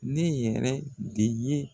Ne yɛrɛ de ye